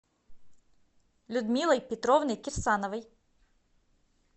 людмилой петровной кирсановой